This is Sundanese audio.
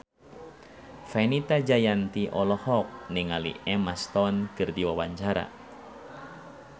Fenita Jayanti olohok ningali Emma Stone keur diwawancara